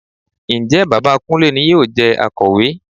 Ǹjẹ́ bàbá Kúnlé ni yóò jẹ Akọ̀wé?